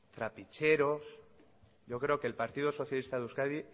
trapicheros yo creo que el partido socialista de euskadi